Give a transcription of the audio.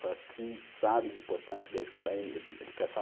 para quem sabe a importância da educação.